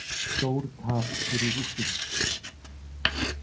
Stórtap fyrir Rússum